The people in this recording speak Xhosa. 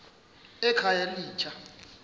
ekhayelitsha